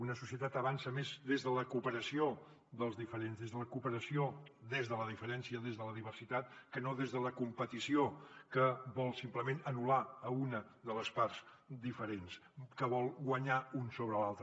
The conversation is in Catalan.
una societat avança més des de la cooperació dels diferents des de la cooperació des de la diferència des de la diversitat que no des de la competició que vol simplement anul·lar una de les parts diferents que vol guanyar un sobre l’altre